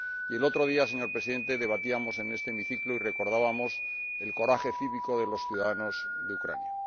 El otro día, señor Presidente, debatíamos en este hemiciclo y recordábamos el coraje cívico de los ciudadanos de Ucrania.